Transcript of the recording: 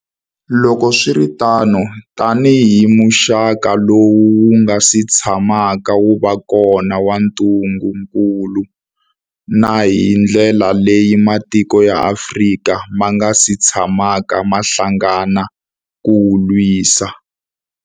Loko swi ri tano, tanihi muxaka lowu wu nga si tshamaka wu va kona wa ntungukulu, na hi ndlela leyi matiko ya Afrika ma nga si tshamaka ma hlangana ku wu lwisa.